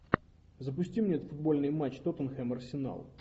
запусти мне футбольный матч тоттенхэм арсенал